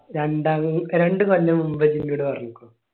രണ്ടാം രണ്ട് കൊല്ലം മുമ്പ്